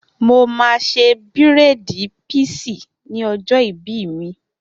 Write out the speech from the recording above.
Mo máa ṣe bírèèdì píísì ní ọjọ́ ìbí mi